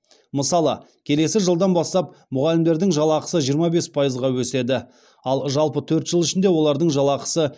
мысалы келесі жылдан бастап мұғалімдердің жалақысы жиырма бес пайызға өседі ал жалпы төрт жыл ішінде олардың жалақысы